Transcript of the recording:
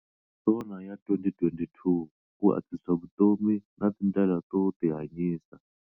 SONA ya 2022- Ku antswisa vutomi na tindlela to tihanyisa